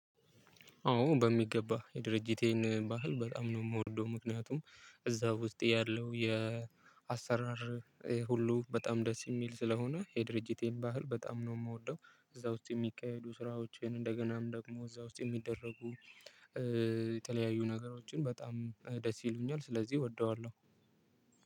አዎ በሚገባ የድርጅቴን ባህል በጣም ነው የምወደው፤ ምክንያቱም እዛ ውስጥ ያለው የአሰራር ሁሉ በጣም ደስ የሚል ስለሆነ፤ የድርጅቴን ባህል በጣም ነው የምወደው። እዛ ውስጥ የሚካሄዱ ስራዎችን፣ እንደገናም ደግሞ እዛ ውስጥ የሚደረጉ የተለያዩ ነገሮችን በጣም ደስ ይሉኛል። ስለዚህ እወደዋለሁ።